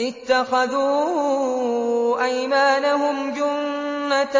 اتَّخَذُوا أَيْمَانَهُمْ جُنَّةً